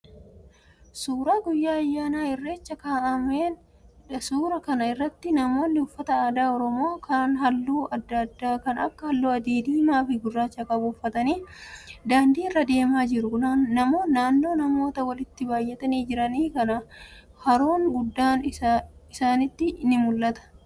Suuraa guyyaa ayyaana irrechaa ka'aameedha. Suuraa kana irratti namoonni uffata aadaa oromoo kan halluu adda addaa kan akka halluu adii, diimaa fi gurraacha qabu uffatanii daandii irra deemaa jiru. Naannoo namoota walitti baayyatanii jiranii kana haroon goodaa isaaniiti ni mul'ata.